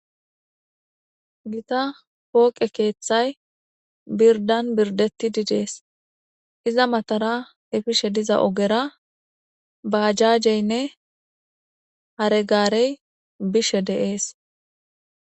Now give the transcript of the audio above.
Gita pooqe keeththay birdan birdeti didees iza matara efishe diza ogera baajajeynne hare gaarey bishe deees.